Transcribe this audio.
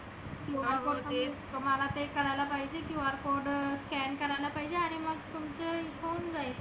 QR code तुम्हाला काही करायला पाहीजे QR code scan करायला पाहीजे. आणि मग तुमचे होऊन जाईल.